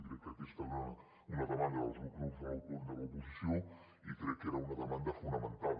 crec que aquesta era una demanda dels grups de l’oposició i crec que era una demanda fonamentada